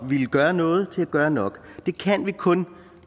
ville gøre noget til at gøre nok det kan vi kun